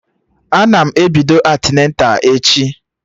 Ana m ebido antịneta echi